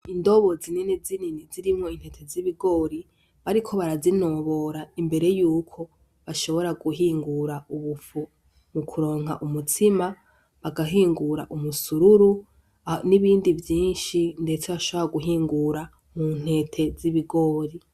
Indobo zinini zinini zirimwo intete z' ibigori bariko barazi nobora imbere yuko bashobore guhingura ubufu mukuronka umutsima bagahingura umusururu n' ibindi vyinshi ndetse bashobore guhingura mu ntete z'ibigori.